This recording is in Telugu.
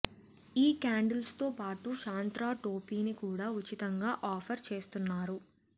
ఈ క్యాండిల్స్తో పాటు శాంత్రా టోపీని కూడా ఉచితంగా ఆఫర్ చేస్తున్నారు